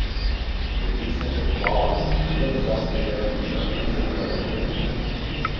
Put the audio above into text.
Gredic ne prekopava, nima težav s plevelom in vrt tudi zaliva le poredko.